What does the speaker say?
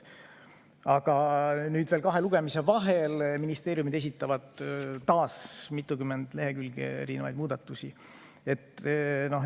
Aga nüüd veel kahe lugemise vahel ministeeriumid esitavad taas mitukümmend lehekülge erinevaid muudatusi.